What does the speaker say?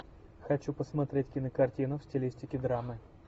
хочу посмотреть кинокартину в стилистике драмы